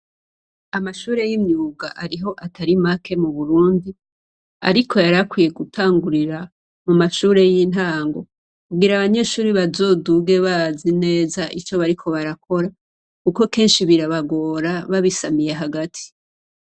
Amashure y'imyuga ariho Atari make mu Burundi, ariko yarakwiye gutangurira mu mashure y'intango kugira abanyeshure bazoduge bazi neza ivyo bariko barakora. Kuko kenshi birabagora babisamiye hagati.